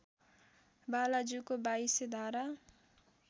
बालाजुको २२ धारा